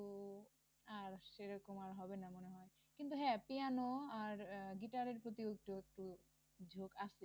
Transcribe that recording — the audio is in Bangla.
আর সেইরকম আর হবে না মনে হয় কিন্তু হ্যা পিয়ানো আর আহ গিটারের প্রতি একটু একটু ঝোক আছে